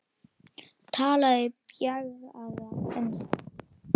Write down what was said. Talaði bjagaða ensku: